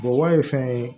ye fɛn ye